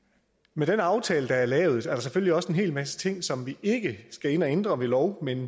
med den aftale der er lavet er der selvfølgelig også en hel masse ting som vi ikke skal ind at ændre ved lov men